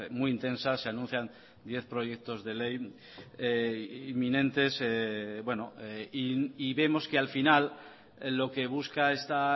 muy intensa se anuncian diez proyectos de ley inminentes bueno y vemos que al final lo que busca esta